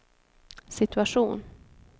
situation